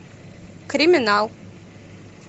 криминал